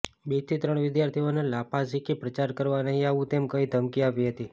બેથી ત્રણ વિદ્યાર્થીઓને લાફા ઝીંકી પ્રચાર કરવા નહીં આવવું તેમ કહી ધમકી આપી હતી